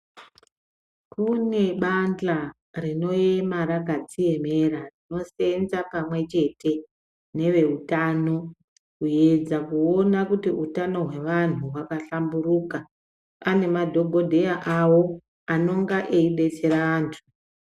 Kune bandla rinoema rakadziemera rinoseenza pamwechete neveutano kuedza kuona kuti utano hwevantu hwakahlamburuka. Pane madhogodheya avo anonga eidetsere vantu.